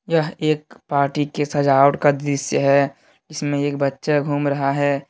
यह एक पार्टी की सजावट का दृश्य है जिसमें एक बच्चा घूम रहा है।